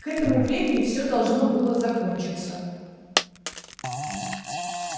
к этому времени все должно было закончиться